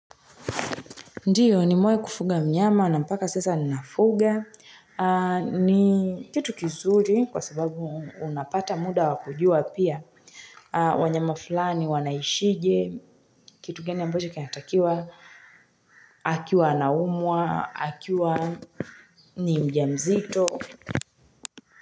Ndiyo nimewahi kufuga mnyama na mpaka sasa ninafuga. Ni kitu kizuri kwa sababu unapata muda wa kujua pia. Wanyama fulani wanaishi ajy kitu gani ambacho kinatakiwa akiwa anaumwa. Akiwa ni mjamzito.